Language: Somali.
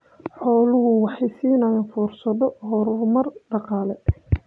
Xooluhu waxay siinayaan fursado horumar dhaqaale.